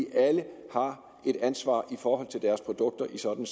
alle har et ansvar for deres produkter i sådan